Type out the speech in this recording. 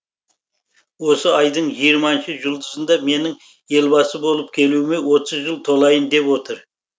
осы айдың жиырманшы жұлдызында менің елбасы болып келуіме отыз жыл толайын деп отыр